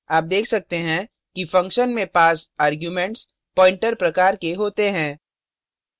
आप देख सकते हैं कि function में passed arguments pointer प्रकार के होते हैं